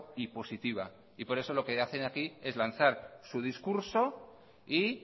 y positiva y por eso lo que hacen aquí es lanzar su discurso y